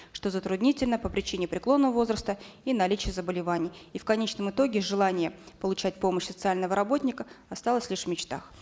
что затруднительно по причине преклонного возраста и наличия заболеваний и в конечном итоге желание получать помощь социального работника осталось лишь в мечтах